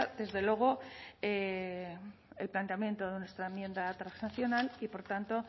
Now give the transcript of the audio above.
desde luego el planteamiento de nuestra enmienda transaccional y por tanto